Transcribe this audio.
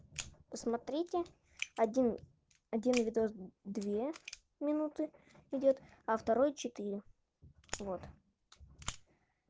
посмотрите один один видос две минуты идёт а второй четыре вот